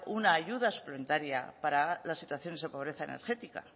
una ayuda suplementaria para las situaciones de pobreza energética